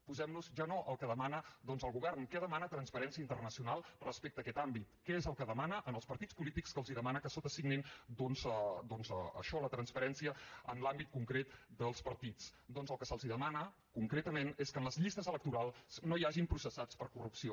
posem nos ja no al que demana el govern què demana transparència internacional respecte a aquest àmbit què és el que demana als partits polítics que els demana que sotasignin això la transparència en l’àmbit concret dels partits doncs el que se’ls demana concretament és que en les llistes electorals no hi hagi processats per corrupció